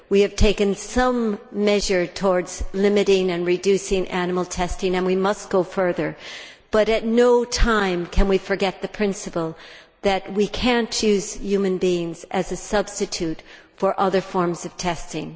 We have taken some measures towards limiting and reducing animal testing and we must go further, but at no time can we forget the principle that we cannot use human beings as a substitute for other forms of testing.